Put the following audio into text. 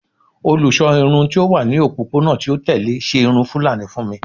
Olusọ irun ti o wa ni opopona ti o tẹle ṣe irun fulani fun mi